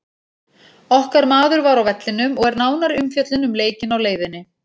Okkar maður var á vellinum og er nánari umfjöllun um leikinn á leiðinni.